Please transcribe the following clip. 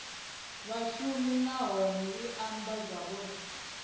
vhashumi nahone i amba zwauri